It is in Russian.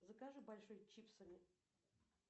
закажи большой чипсами